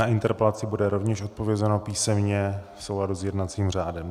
Na interpelaci bude rovněž odpovězeno písemně v souladu s jednacím řádem.